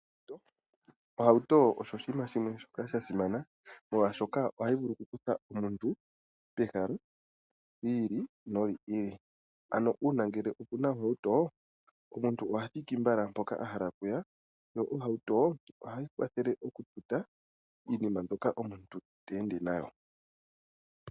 Ohauto osho oshiima shimwe shoka sha simana, molwaashoka ohayi vulu oku kutha omuntu pehala yiili no yiili. Ano uuna ngele okuna ohauto, omuntu ngoka oha thiki mbala mpoka ahala okuya, yo ohauto ohayi kwathele oku tuta iinima mbyoka omuntu ta ende nayo.